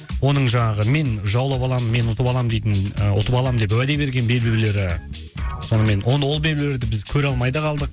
оның жаңағы мен жаулап аламын мен ұтып аламын дейтін ұтып аламын деп уәде берген белбеулері онымен ол белбеулерді біз көре алмай да қалдық